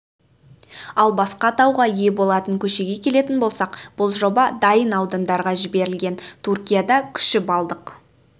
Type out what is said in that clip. ал басқа атауға ие болатын көшеге келетін болсақ бұл жоба дайын аудандарға жіберілген түркияда күші балдық